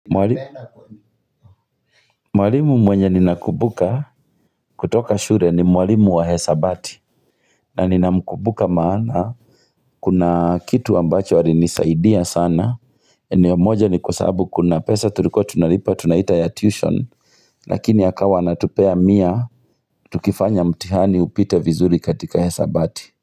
Mwalimu mwenye nina kumbuka kutoka shule ni mwalimu wa hisabati na nina mkumbuka maana Kuna kitu ambacho alinisaidia sana eneo moja ni kwa sababu kuna pesa tuliko tunalipa tunaita ya tuition lakini akawa anatupea mia Tukifanya mtihani upite vizuri katika hisabati.